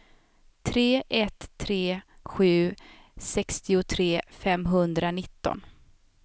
tre ett tre sju sextiotre femhundranitton